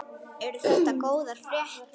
Eru þetta góðar fréttir?